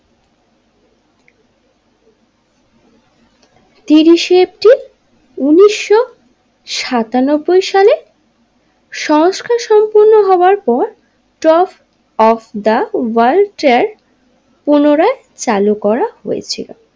তিরিশে এপ্রিল উনিশশো সাতানব্বই সালে সংস্কার সম্পূর্ণ হবার পর top of the world trade পুনরায় চালু করা হয়েছিল।